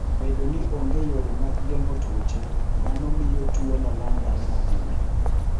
Bedo ni onge yore mag geng'o tuoche, mano miyo tuwono landore mapiyo.